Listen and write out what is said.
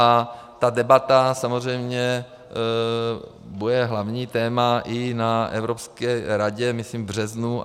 A ta debata samozřejmě bude hlavní téma i na Evropské radě, myslím v březnu.